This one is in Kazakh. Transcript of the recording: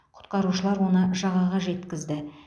құтқарушылар оны жағаға жеткізді